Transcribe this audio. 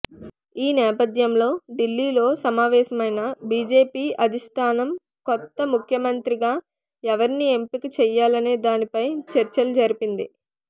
ఈ నేపథ్యంలో ఢిల్లీలో సమావేశమైన బీజేపీ అధిష్టానం కొత్త ముఖ్యమంత్రిగా ఎవరిని ఎంపిక చేయాలనే దానిపై చర్చలు జరిపింది